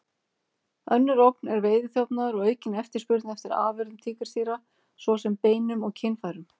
Önnur ógn er veiðiþjófnaður og aukin eftirspurn eftir afurðum tígrisdýra, svo sem beinum og kynfærum.